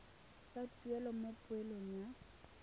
sa tuelo mo poelong ya